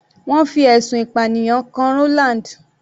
Wọ́n fi ẹ̀sùn ìpànìyàn kan Roland.